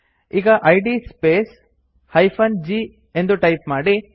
ಈಗ ಇದ್ space -g ಎಂದು ಟೈಪ್ ಮಾಡಿ